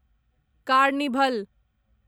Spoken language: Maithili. कार्निभल